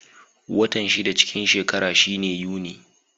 Watan shida cikin shekara shine Yuni.